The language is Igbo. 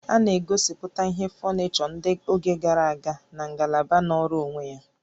A na-egosiputa ihe fọnịchọ ndị oge gara aga na ngalaba nọọrọ onwe ya